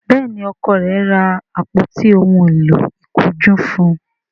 Béèni Ọkọ rẹ ra àpótí òún èló ìkunjú fún.